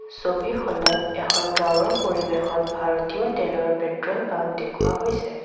ছবিখনত এখন গাওঁৰ পৰিবেশত ভাৰতীয় তেলৰ পেট্ৰল পাম্প দেখুওৱা হৈছে।